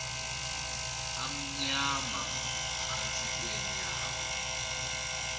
amnyama phantsi kweenyawo